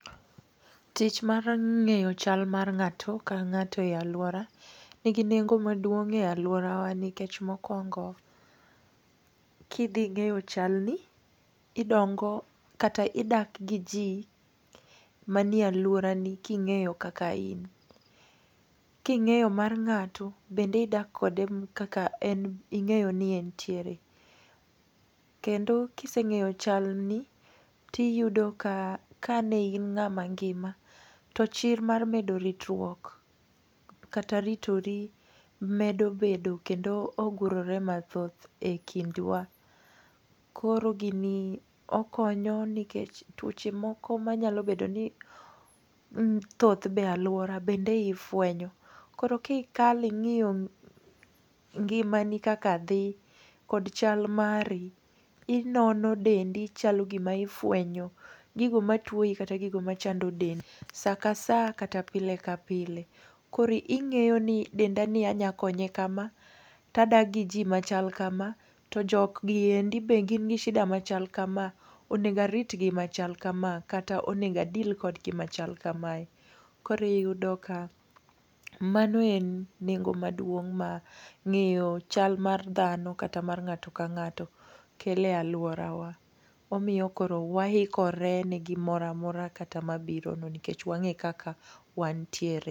Tich mar ng'eyo chal mar ng'ato ka ng'ato e alwora ni gi nengo maduong' e alworawa. Nikech mokwongo kidhi ing'eyo chal ni idongo kata idak gi ji manie alwora ni king'eyo kaka in? King'eyo mar ng'ato bende idak kode kaka en ing'eyoni e nitiere, kendo kiseng'eyo chal ni tiyudo ka ka ne in ng'ama ngima, tochir mar medo ritruok, kata ritori medo bedo kendo ogurore mathoth e kindwa. Koro gini okonyo nikech tuoche moko manyalo bedo ni thoth be e alwora bende ifwenyo. Koro ki kalo ing'iyo ngimani kaka dhi, kod chal mari, inono dendi chalo gima ifwenyo, gigo matwoyi kata gigo machando dendi, sa ka sa kata pile ka pile. Koro ing'eyo ni denda ni anyakonye kama tadak gi ji machal kama, to jogi e ndi be gin gi shida machal kama. Onego aritgi machal kama, kata onego a deal kodgi machal kamae. Koro iyudo ka mano en nengo maduong' ma ng'eyo chal mar dhano kata mar ngato ka ngato kelo e alworawa. Omiyo koro waikore ni gimoro amora kata mabiro no nikech wang'e kaka wanitiere.